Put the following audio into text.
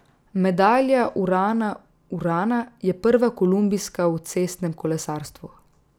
Medalja Urana Urana je prva kolumbijska v cestnem kolesarstvu.